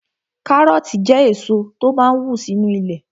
Kárọ̀ọ̀tì jẹ́ èso tó máa n wù sínu ilẹ̀